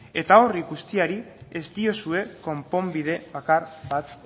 eta hori guztiari ez diozue konponbide bakar bat